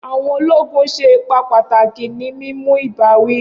Awọn ologun ṣe ipa pataki ni mimu ibawi.